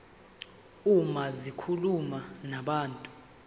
uma zikhuluma nabantu